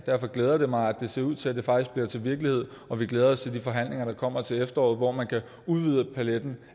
derfor glæder det mig at det ser ud til at det faktisk bliver til virkelighed vi glæder os til de forhandlinger der kommer til efteråret hvor man kan udvide paletten